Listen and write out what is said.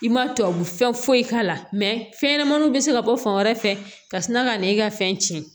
I ma tubabu fɛn foyi k'a la fɛnɲɛnɛmaninw bɛ se ka bɔ fan wɛrɛ fɛ ka sina ka na e ka fɛn tiɲɛ